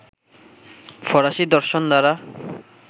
ফরাসি দর্শন দ্বারা